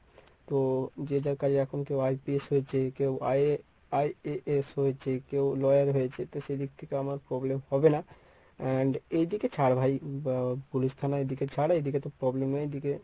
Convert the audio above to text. তো যে যার কাজে এখন কেউ IPS হয়েছে কেউ IAS হয়েছে কেউ lawyer হয়েছে তো সেদিক থেকে আমার problem হবে না। and এই দিকে ছাড় ভাই আহ police থানার এইদিকে ছাড় এইদিকে তো problem নেই এইদিকে।